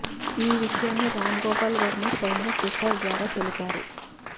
ఈ విషయాన్ని రామ్ గోపాల్ వర్మ స్వయంగా ట్విటర్ ద్వారా తెలిపారు